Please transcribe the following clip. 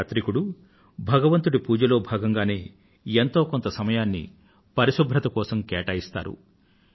ప్రతి యాత్రికుడు భగవంతుడి పూజలో భాగంగానే ఎంతో కొంత సమయాన్ని పరిశుభ్రత కోసం కేటాయిస్తారు